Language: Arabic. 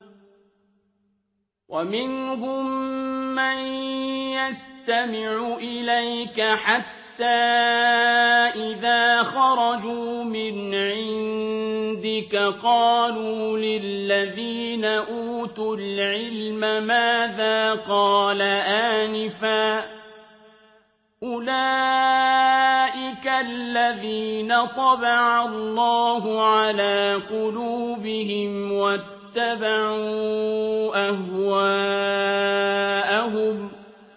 وَمِنْهُم مَّن يَسْتَمِعُ إِلَيْكَ حَتَّىٰ إِذَا خَرَجُوا مِنْ عِندِكَ قَالُوا لِلَّذِينَ أُوتُوا الْعِلْمَ مَاذَا قَالَ آنِفًا ۚ أُولَٰئِكَ الَّذِينَ طَبَعَ اللَّهُ عَلَىٰ قُلُوبِهِمْ وَاتَّبَعُوا أَهْوَاءَهُمْ